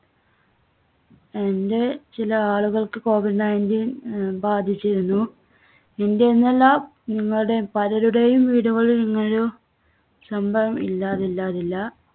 എൻ്റെ ചില ആളുകൾക്ക് covid nineteen അഹ് ബാധിച്ചിരുന്നു. എൻറെയെന്നല്ല നിങ്ങളുടെയും പലരുടെയും വീടുകളിൽ ഇങ്ങനെയൊരു സംഭവം ഇല്ലാതില്ലാതില്ല.